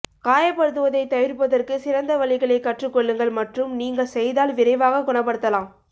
காயப்படுத்துவதைத் தவிர்ப்பதற்கு சிறந்த வழிகளைக் கற்றுக் கொள்ளுங்கள் மற்றும் நீங்கள் செய்தால் விரைவாக குணப்படுத்தலாம்